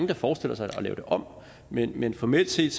der forestiller sig at lave det om men men formelt set